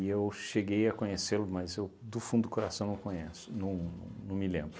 eu cheguei a conhecê-lo, mas eu do fundo do coração não conheço, não não me lembro.